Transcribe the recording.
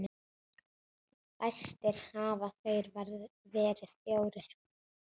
Fæstir hafa þeir verið fjórir.